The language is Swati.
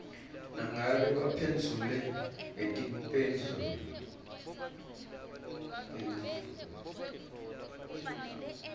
nangabe baphendvule ngetimphendvulo